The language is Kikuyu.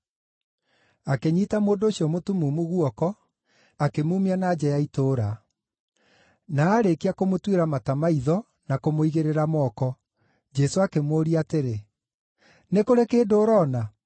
Akĩnyiita mũndũ ũcio mũtumumu guoko, akĩmuumia na nja ya itũũra. Na aarĩkia kũmũtuĩra mata maitho na kũmũigĩrĩra moko, Jesũ akĩmũũria atĩrĩ, “Nĩ kũrĩ kĩndũ ũroona?”